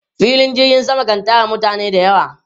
Filin jirgin sama kan tara mutane da yawa.